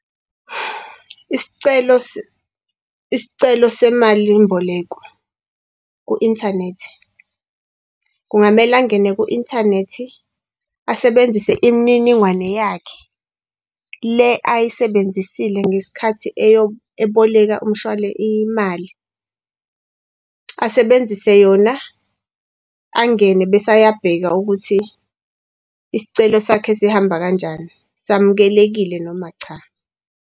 Isicelo semalimboleko ku-inthanethi, kungamele angene ku-inthanethi asebenzise imininingwane yakhe le ayisebenzisile ngesikhathi eboleka imali asebenzise yona angene bese ayabheka ukuthi isicelo sakhe sihamba kanjani, samukelekile noma cha.